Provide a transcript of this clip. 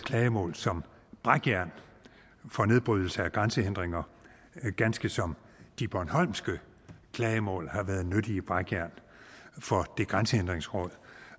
som brækjern for nedbrydelse af grænsehindringer ganske som de bornholmske klagemål har været nyttige brækjern for det grænsehindringsråd